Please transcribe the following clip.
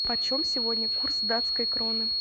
почем сегодня курс датской кроны